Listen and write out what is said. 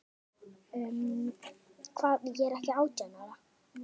Styrmir var prestur að vígslu.